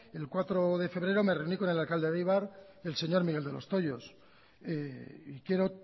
el cuatro de febrero me reuní con el alcalde de eibar el señor miguel de los toyos y quiero